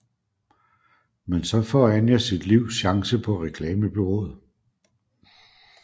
Men så får Anja sit livs chance på reklamebureauet